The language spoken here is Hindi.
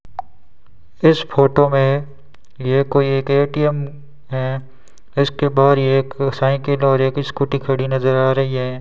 इस फोटो मे ये कोई एक ए_टी_म है इसके बाहर एक साइकिल और एक स्कूटी खड़ी नज़र आ रही है।